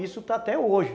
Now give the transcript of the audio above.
Isso está até hoje.